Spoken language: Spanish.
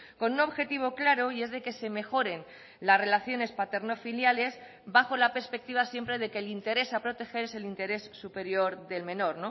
con un objetivo claro y es de que se mejoren las relaciones paterno filiales bajo la perspectiva siempre de que el interés a proteger es el interés superior del menor